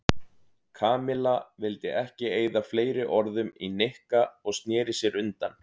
Kamilla vildi ekki eyða fleiri orðum í Nikka og snéri sér undan.